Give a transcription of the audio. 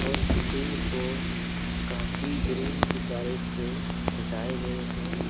Gym को काफी balloon गुब्बारे से सजाए गए है।